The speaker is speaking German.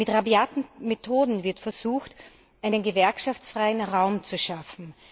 Mit rabiaten Methoden wird versucht, einen gewerkschaftsfreien Raum zu schaffen.